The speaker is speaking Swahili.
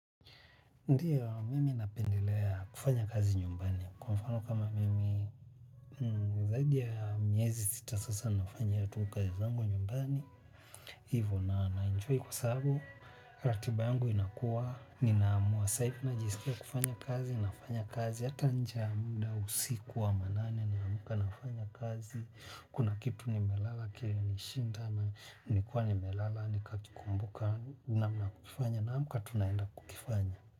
Ndiyo mimi napendelea kufanya kazi nyumbani kwa mfano kama mimi zaidi ya myezi sita sasa nafanya ya tukazi zangu nyumbani hivo na naenjua kwa sababu ratiba yangu inakuwa ninaamua saifu na jisikia kufanya kazi nafanya kazi yata nje ya munda usikuwa manane ni amuka nafanya kazi kuna kitu nimelala kilinishinda na nikuwa ni melala ni kakikumbuka namna kufanya naamuka tunaenda kukifanya.